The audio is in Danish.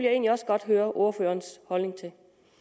egentlig også godt høre ordførerens holdning til